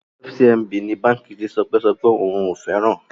FCMB is a bank that Toke said she does not like